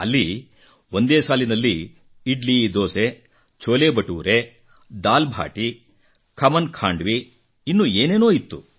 ಅಲ್ಲಿ ಒಂದೇ ಸಾಲಿನಲ್ಲಿ ಇಡ್ಲಿ ದೋಸೆ ಛೋಲೆ ಬಟೂರೆ ದಾಲ್ ಬಾಟಿ ಖಮನ್ ಖಾಂಡ್ವಿ ಇನ್ನೂ ಏನೇನೋ ಇತ್ತು